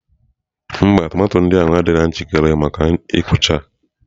Mba, tomato ndị a adịghị njikere maka ịkụcha